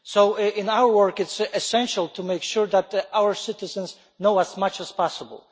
So in our work it is essential to make sure that our citizens know as much as possible.